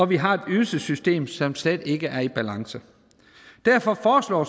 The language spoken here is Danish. vi har et ydelsessystem som slet ikke er i balance derfor foreslår